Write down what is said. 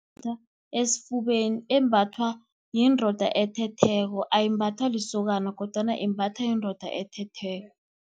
Imbathwa esifubeni, embathwa yindoda ethetheko, ayimbathwa lisokana, kodwana imbathwa yindoda ethetheko.